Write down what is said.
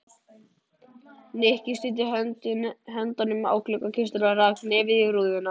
Nikki studdi höndunum á gluggakistuna og rak nefið í rúðuna.